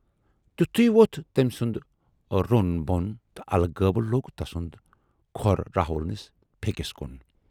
تِتھُے ووتھ تمٔۍ سُند روٗن بۅن تہٕ الہٕ غٲبہٕ لوگ تسُند کھۅر راہُل نِس پھیکِس کُن۔